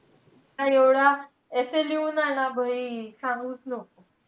हा एवढा essay लिहून आणा. सांगूच नको.